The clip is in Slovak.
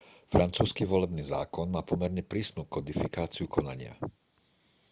francúzsky volebný zákon má pomerne prísnu kodifikáciu konania